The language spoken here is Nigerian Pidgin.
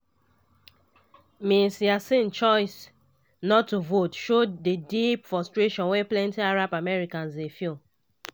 ms yassin choice not to vote show di deep frustration wey plenti arab americans dey feel.